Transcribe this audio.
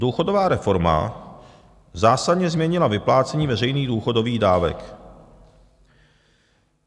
Důchodová reforma zásadně změnila vyplácení veřejných důchodových dávek.